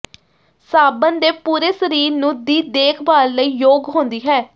ਸਾਬਣ ਦੇ ਪੂਰੇ ਸਰੀਰ ਨੂੰ ਦੀ ਦੇਖਭਾਲ ਲਈ ਯੋਗ ਹੁੰਦੀ ਹੈ